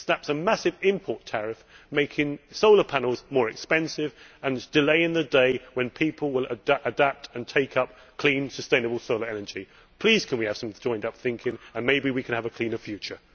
It slaps a massive import tariff, making solar panels more expensive and delaying the day when people will adapt and take up clean, sustainable solar energy. Please can we have some joined up thinking, then maybe we can have a cleaner future.